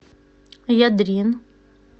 ядрин